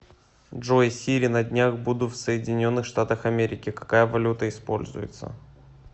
джой сири на днях буду в соединенных штатах америки какая валюта используется